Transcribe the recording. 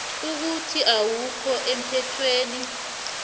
ukuthi awukho emthethweni